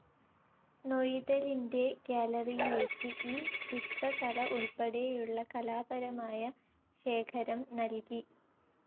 നൊയിദലിൻ്റെ ഗ്യാലറിയിലേക്ക് ഈ ചിത്രകല ഉൾപ്പടെയുള്ള കലാപരമായ ശേഖരം നൽകി.